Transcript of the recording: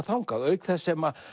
þangað auk þess sem